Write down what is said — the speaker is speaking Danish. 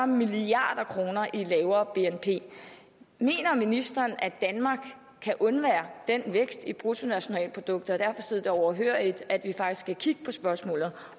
milliard kroner i lavere bnp mener ministeren at danmark kan undvære den vækst i bruttonationalproduktet og kan sidde overhørigt at vi faktisk skal kigge på spørgsmålet